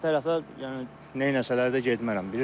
O alt tərəfə, yəni, neyləsələr də getmərəm.